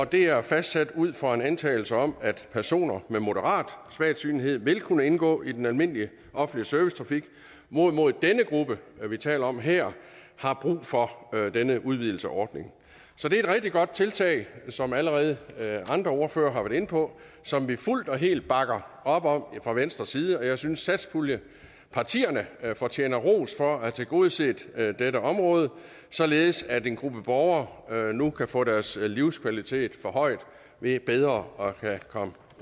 det er fastsat ud fra en antagelse om at personer med moderat svagsynethed vil kunne indgå i den almindelige offentlige servicetrafik hvorimod denne gruppe vi taler om her har brug for denne udvidelse af ordningen så det er et rigtig godt tiltag som allerede andre ordførere har været inde på og som vi fuldt og helt bakker op om fra venstres side jeg synes satspuljepartierne fortjener ros for at have tilgodeset dette område således at en gruppe borgere nu kan få deres livskvalitet forhøjet ved bedre at kunne komme